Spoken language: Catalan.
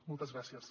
moltes gràcies